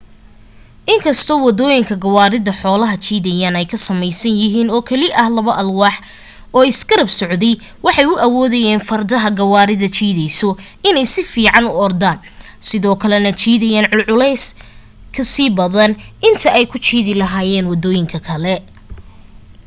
inkastoo wadooyinka gawaarida xoolaha jiidayeen ay ka sameysnaayeen oo keli ah labo alwaax oo isgarab socday waxay u awoodaayeen fardaha gawaarida jiidayso inay si fiican u ordaan sidoo kale na jiidaan culees ka sii badan inta ay ku jiidi lahaayeen wadooyinka kale